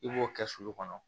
I b'o kɛ sulu kɔnɔ